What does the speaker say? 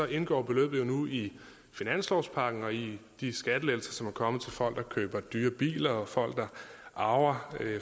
indgår beløbet jo nu i finanslovspakken og i de skattelettelser som er kommet til folk der køber dyre biler og folk der arver